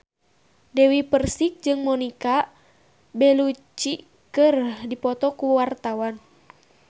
Dewi Persik jeung Monica Belluci keur dipoto ku wartawan